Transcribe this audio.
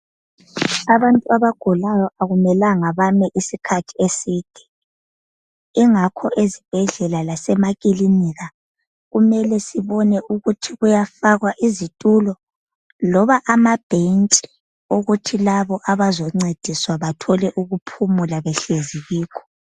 Abantu abagulayo akumelanga bame isikhathi eside ingakho ezibhedlela lasemakilinika kumele sibone ukuthi kuyafakwa izitulo loba amabhentshi okuthi labo abazoncediswa bathole ukuphumula behlezi kikho